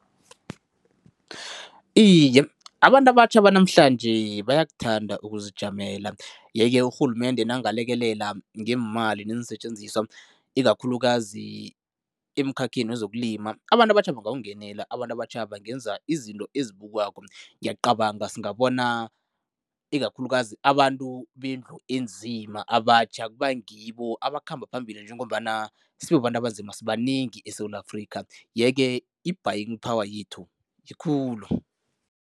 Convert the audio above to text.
Iye, abantu abatjha banamhlanje bayakuthanda ukuzijamela yeke urhulumende nangalekelela ngeemali neensetjenziswa, ikakhulukazi emkhakheni wezokulima, abantu abatjha bangawungenela, abantu abatjha bangenza izinto ezibukwako. Ngiyacabanga singabona ikakhulukazi abantu wendlu enzima, abatjha kubangibo abakhamba phambili njengombana sibabantu abanzima sibanengi eSewula Afrika yeke i-buying power yethu yikulu.